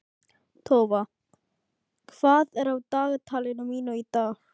Tófa, hvað er á dagatalinu mínu í dag?